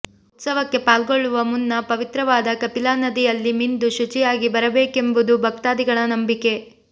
ಉತ್ಸವಕ್ಕೆ ಪಾಲ್ಗೊಳ್ಳುವ ಮುನ್ನ ಪವಿತ್ರವಾದ ಕಪಿಲಾ ನದಿಯಲ್ಲಿ ಮಿಂದು ಶುಚಿಯಾಗಿ ಬರಬೇಕೆಂಬುದು ಭಕ್ತಾದಿಗಳ ನಂಬಿಕೆ